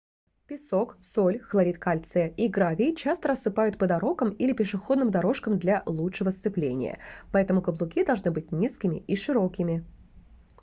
песок соль хлорид кальция и гравий часто рассыпают по дорогам или пешеходным дорожкам для лучшего сцепления. поэтому каблуки должны быть низкими и широкими